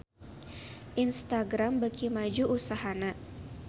Instagram beuki maju usahana